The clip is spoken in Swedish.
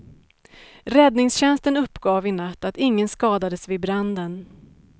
Räddningstjänsten uppgav i natt att ingen skadades vid branden.